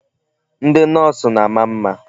Ndị Nọọsụ na-ama mma.